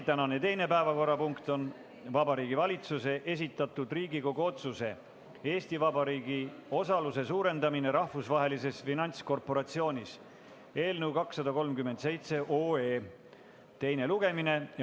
Tänane teine päevakorrapunkt on Vabariigi Valitsuse esitatud Riigikogu otsuse "Eesti Vabariigi osaluse suurendamine Rahvusvahelises Finantskorporatsioonis" eelnõu 237 teine lugemine.